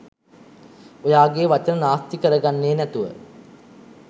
ඔයාගේ වචන නාස්ති කරගන්නේ නැතුව